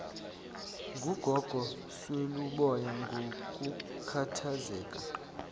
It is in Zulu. ngugogo sweluboya ngokukhathazeka